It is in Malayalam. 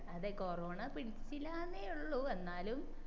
അതെ കൊറോണ പിടിച്ചില്ലെന്നേ ഉള്ളു എന്നാലും